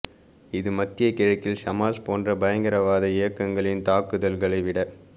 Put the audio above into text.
இது மத்திய கிழக்கில் ஹமாஸ் போன்ற பயங்கரவாத இயக்கங் களின் தாக்குதல்களைவிட